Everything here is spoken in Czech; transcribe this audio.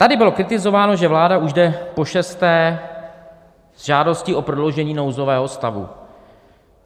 Tady bylo kritizováno, že vláda je už zde pošesté s žádostí o prodloužení nouzového stavu.